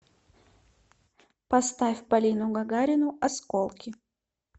поставь полину гагарину осколки